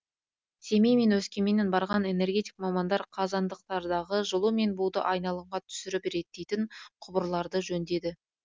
семей мен өскеменнен барған энергетик мамандар қазандықтардағы жылу мен буды айналымға түсіріп реттейтін құбырларды жөндеді